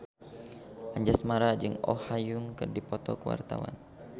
Anjasmara jeung Oh Ha Young keur dipoto ku wartawan